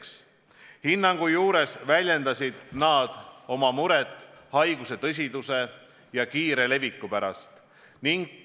Seda hinnangut andes väljendasid nad muret haiguse tõsiduse ja kiire leviku pärast.